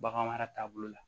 Bagan mara taabolo la